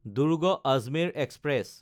দুৰ্গ–আজমেৰ express